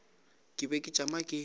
ke be ke tšama ke